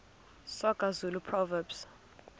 soga zulu proverbs